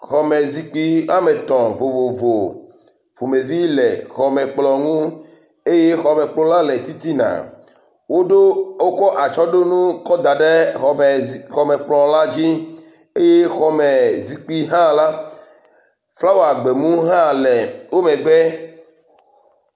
Xɔme zikpui wɔme etɔ̃ vovovo ƒomevi le xɔmekplɔ eye xɔmekplɔ la le titina. Woɖo wokɔ atsɔɖonu kɔ da ɖe xɔme zi xɔme kplɔ la dzi eye xɔmekplɔ hã la, flawa gbemu hã le wo megbe